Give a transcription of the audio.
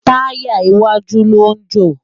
Tàyá iwájú lo jó